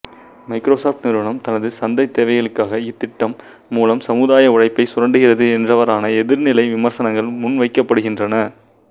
Microsoft நிறுவனம் தனது சந்தைத் தேவைகளுக்காக இத்திட்டம் மூலம் சமுதாய உழைப்பை சுரண்டுகிறது என்றவாறான எதிர்நிலை விமர்சனங்கள் முன்வைக்கப்படுகின்றன